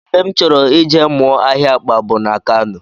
Ebe m chọrọ ije mụọ ahịa akpa bụ na Kano